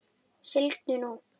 Sigldu nú.